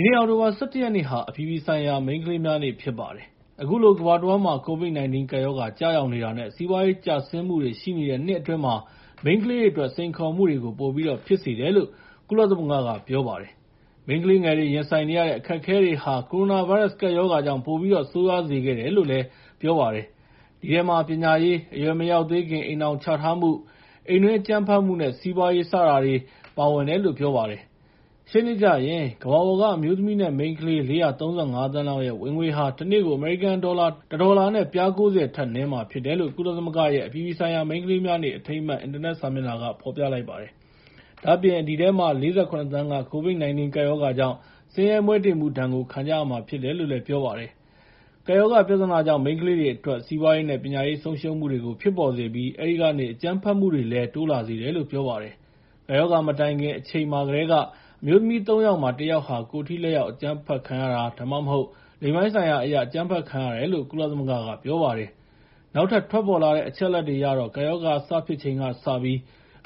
ီနေ့ အောက်တိုဘာလ ၁၁ ရက်နေ့ဟာ အပြည်ပြည်ဆိုင်ရာ မိန်းကလေးများနေ့ ဖြစ်ပါတယ်။ အခုလို ကမ္ဘာတဝန်းမှာ COVID-19 ကပ်ရောဂါ ကျရောက်နေတာနဲ့ စီးပွားရေး ကျဆင်းမှုတွေ ရှိနေတဲ့နှစ်အတွင်း မိန်းကလေးတွေအတွက် စိန်ခေါ်မှုတွေကို ပိုပြီးတော့ ဖြစ်စေခဲ့ပါတယ်။ မိန်းကလေးငယ်လေးတွေ ရင်ဆိုင်နေရတဲ့ အခက်အခဲတွေဟာ ကိုရိုနာဗိုင်းရပ်စ် ကပ်ရောဂါကြောင့် ပိုပြီးတော့ ဆိုးရွားစေခဲ့တယ်လို့ ကုလသမဂ္ဂက ပြောလိုက်ပါတယ်။ အဲဒီထဲမှာ ပညာရေး၊ အရွယ်မရောက်သေးခင် အိမ်ထောင်ချထားမှု၊ အိမ်တွင်းအကြမ်းဖက်မှုနဲ့ စီးပွားရေး စတာတွေ ပါဝင်တယ်လို့ ပြောပါတယ်။ ရှေ့နှစ်ကျရင် ကမ္ဘာပေါ်က အမျိုးသမီးနဲ့ မိန်းကလေး ၄၃၅ သန်းလောက်ဟာ ဝင်ငွေ တနေ့ကို အမေရိကန်ဒေါ်လာ ၁ ဒေါ်လာနဲ့ ပြား ၉၀ ထက်နည်းမှာ ဖြစ်တယ်လို့ ကုလသမဂ္ဂရဲ့ အပြည်ပြည်ဆိုင်ရာ မိန်းကလေးများနေ့ အထိမ်းအမှတ် အင်တာနက်စာမျက်နှာက ဖော်ပြလိုက်ပါတယ်။ ဒါ့အပြင် အဲဒီထဲမှာ ၄၇ သန်းက COVID-19 ကပ်ရောဂါကြောင့် ဆင်းရဲမွဲတေမှုဒဏ်ကို ခံကြရမှာဖြစ်တယ်လို့ ပြောပါတယ်။ ကပ်ရောဂါပြဿနာကြောင့် မိန်းကလေးတွေအတွက် စီးပွားရေးနဲ့ ပညာရေး ဆုံးရှုံးမှုတွေ ဖြစ်ပေါ်စေပြီး အဲဒီကနေ အကြမ်းဖက်မှုတွေလည်း တိုးလာစေတယ်လို့ ပြောပါတယ်။ ကပ်ရောဂါမတိုင်ခင် အချိန်မှာကတည်းက အမျိုးသမီး ၃ ယောက်မှာ ၁ ယောက်ဟာ ကိုယ်ထိလက်ရောက် အကြမ်းဖက်ခံရတာ ဒါမှမဟုတ် လိင်ပိုင်းဆိုင်ရာအရ အကြမ်းဖက်ခံရတယ်လို့ ကုလသမဂ္ဂက ပြောပါတယ်။ နောက်ထပ် ထွက်ပေါ်လာတဲ့ အချက်အလက်တွေအရတော့ ကပ်ရောဂါ စဖြစ်ချိန်ကစပြီး